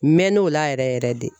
N mɛɛnn'o la yɛrɛ yɛrɛ yɛrɛ de